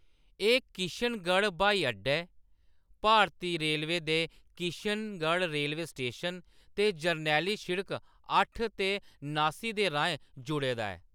एह्‌‌ किशनगढ़ ब्हाई अड्डे, भारती रेलवे दे किशनगढ़ रेलवे स्टेशन ते जरनैली शिड़क अट्ठ ते नास्सी दे राहें जुड़े दा ऐ।